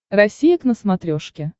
россия к на смотрешке